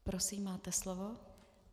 Prosím, máte slovo.